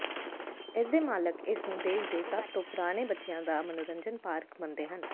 ਇਸਦੇ ਮਾਲਕ ਇਸ ਨੂੰ ਦੇਸ਼ ਦੇ ਸਭ ਤੋਂ ਪੁਰਾਣੇ ਬੱਚਿਆਂ ਦਾ ਮਨੋਰੰਜਨ ਪਾਰਕ ਮੰਨਦੇ ਹਨ